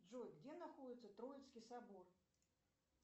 джой где находится троицкий собор